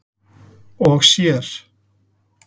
og sér.